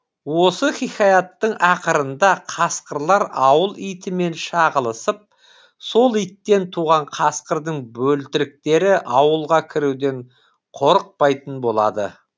осы хикаяттың ақырында қасқырлар ауыл итімен шағылысып сол иттен туған қасқырдың бөлтіріктері ауылға кіруден қорықпайтын болады